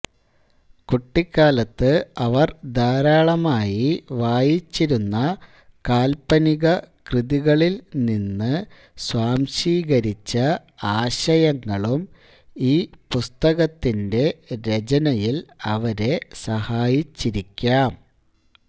കുട്ടിക്കാലത്ത് അവർ ധാരാളമായി വായിച്ചിരുന്ന കാല്പനിക കൃതികളിൽ നിന്ന് സ്വാംശീകരിച്ച ആശയങ്ങളും ഈ പുസ്തകത്തിന്റെ രചനയിൽ അവരെ സഹായിച്ചിരിക്കാം